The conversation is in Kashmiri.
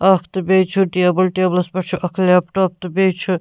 اکھ تہٕ بیٚیہِ چُھ ٹیبل ٹیبلس پٮ۪ٹھ چُھ اکھ لیپٹاپ تہٕ بیٚیہِ چُھ